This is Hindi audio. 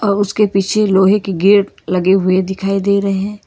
उसके पीछे लोहे के गेट लगे हुए दिखाई दे रहे हैं।